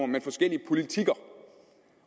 men forskellige politikker